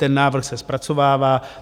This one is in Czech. Ten návrh se zpracovává.